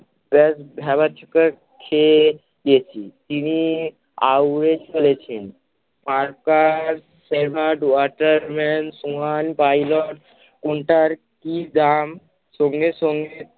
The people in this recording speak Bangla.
প্রায় ভ্যাবাচ্যাকা খেয়ে গেছি, তিনি আউড়ে চলেছেন, আর তার সেভাট ওয়াটারম্যান সোহান pilot কোনোটার কি দাম সঙ্গে সঙ্গে